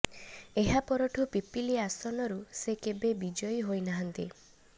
ଏହା ପରଠୁ ପିପିଲି ଆସନରୁ ସେ କେବେ ବିଜୟୀ ହୋଇନାହାନ୍ତି